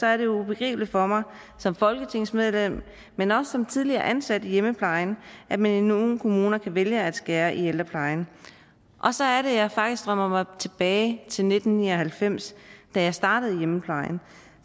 er det ubegribeligt for mig som folketingsmedlem men også som tidligere ansat i hjemmeplejen at man i nogle kommuner kan vælge at skære i ældreplejen og så er det at jeg faktisk drømmer mig tilbage til nitten ni og halvfems da jeg startede i hjemmeplejen